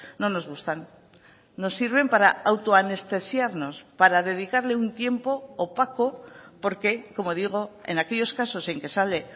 no nos gustan nos sirven para autoanestesiarnos para dedicarle un tiempo opaco porque como digo en aquellos casos en que sale